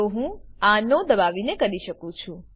તો હું આ નો દબાવીને કરી શકું છું